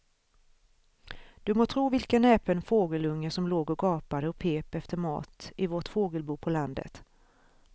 Du må tro vilken näpen fågelunge som låg och gapade och pep efter mat i vårt fågelbo på landet.